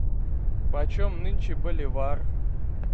почем нынче боливар